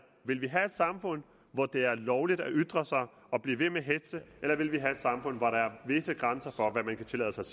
vil vi have et samfund hvor det er lovligt at ytre sig og blive ved med at hetze eller vil vi have et samfund hvor der er visse grænser for hvad man kan tillade sig